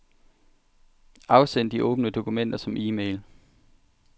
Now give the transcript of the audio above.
Afsend de åbne dokumenter som e-mail.